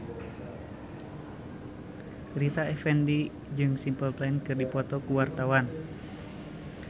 Rita Effendy jeung Simple Plan keur dipoto ku wartawan